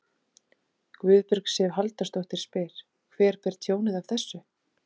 Guðbjörg Sif Halldórsdóttir: Hver ber tjónið af þessu?